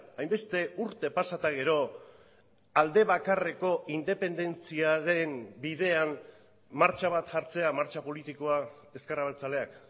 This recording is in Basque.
hainbeste urte pasa eta gero aldebakarreko independentziaren bidean martxa bat jartzea martxa politikoa ezker abertzaleak